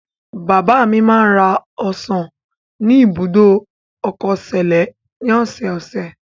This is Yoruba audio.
Bàbá mi máa ń ra ọsàn ni ibùdó ọkọ Sẹ̀lẹ́ ní ọ̀sẹ̀ẹ̀sẹ̀.